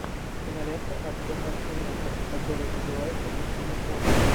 кинолента артема аксененко которая называется почему он